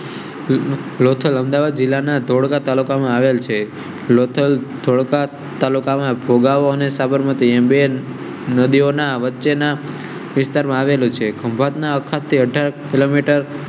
લોથલ લોથલ અમદાવાદ જિલ્લાના ધોળકા તાલુકા માં આવેલ છે. થોડા તાલુકા માં ભોગાવો સાબરમતી એમ્બે ડેડ નદીઓ ના વચ્ચે ના વિસ્તારમાં આવેલું છે. ખંભાત ના અખાત થી અઢાર કિલોમીટર